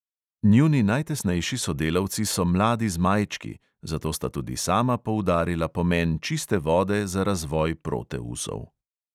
Njuni najtesnejši sodelavci so mladi zmajčki, zato sta tudi sama poudarila pomen čiste vode za razvoj proteusov.